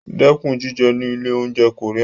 Dẹ́kun jíjẹ ní ilé-oúnjẹ Korean.